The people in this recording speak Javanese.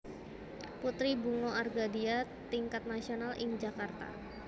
Putri Bunga Argadia Tingkat Nasional ing Jakarta